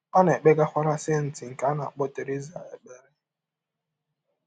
Ọ na - ekpegakwara “ senti ” nke a na - akpọ Theresa ekpere.